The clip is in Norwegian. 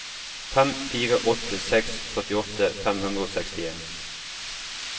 fem fire åtte seks førtiåtte fem hundre og sekstien